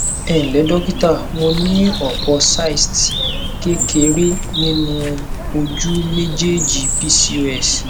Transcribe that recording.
ẹ ǹlẹ dókítà mo ní ọpọ cysts kékeré nínú ojú méjèèjì pcos